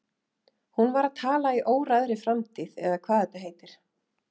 Hún var að tala í óræðri framtíð eða hvað þetta heitir.